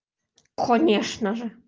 конечно же